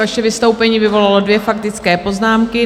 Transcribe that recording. Vaše vystoupení vyvolalo dvě faktické poznámky.